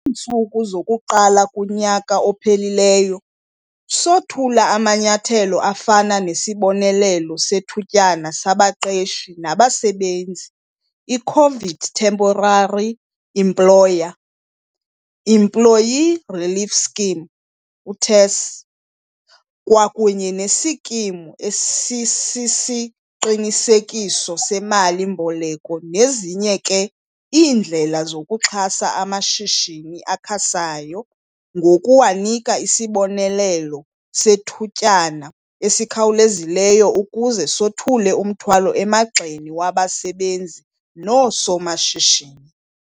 Kwiintsuku zokuqala kunyaka ophelileyo, sothula amanyathelo afana nesibonelelo sethutyana sabaqeshi nabasebenzi i-COVID Temporary Employer - Employee Relief Scheme, uTERS, kwakunye neSikimu Esisisiqinisekiso seMali-mboleko nezinye ke iindlela zokuxhasa amashishini asakhasayo ngokuwanika isibonelelo sethutyana esikhawulezileyo ukuze sothule umthwalo emagxeni wabasebenzi noosomashishini.